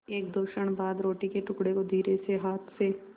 एकदो क्षण बाद रोटी के टुकड़े को धीरेसे हाथ से